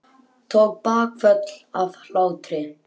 Tók bakföll af hlátri.